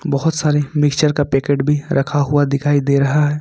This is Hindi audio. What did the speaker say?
बहुत सारे मिक्सचर का पैकेट भी रखा हुआ दिखाई दे रहा है।